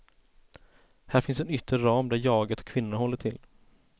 Här finns en yttre ram där jaget och kvinnorna håller till.